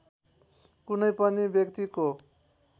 कुनै पनि व्यक्तिको